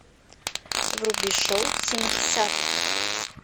вруби шоу семидесятых